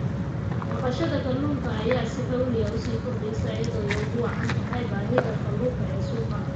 Dhaqashada kalluunka ayaa si xawli ah u koreysa iyadoo ay ugu wacan tahay baahida kalluunka ee suuqa.